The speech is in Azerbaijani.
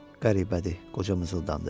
Qəribədir, qoca mızıdandı.